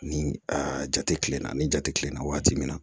Ni a jate kilenna ni ja tɛ kilenna waati min na